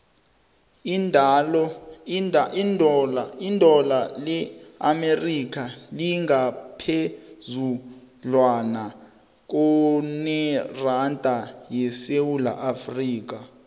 idola le amerika lingaphezudlwana kuneranda yesewula afrika